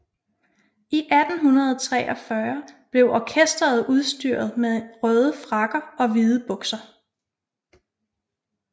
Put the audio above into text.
I 1843 blev orkesteret udstyret med en røde frakker og hvide bukser